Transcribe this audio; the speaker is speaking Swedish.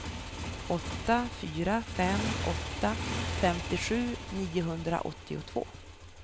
åtta fyra fem åtta femtiosju niohundraåttiotvå